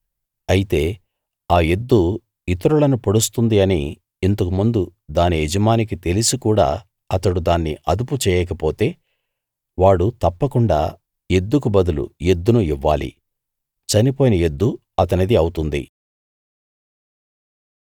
అయితే ఆ ఎద్దు ఇతరులను పొడుస్తుంది అని ఇంతకు ముందు దాని యజమానికి తెలిసి కూడా అతడు దాన్ని అదుపు చేయకపోతే వాడు తప్పకుండా ఎద్దుకు బదులు ఎద్దును ఇవ్వాలి చనిపోయిన ఎద్దు అతనిది అవుతుంది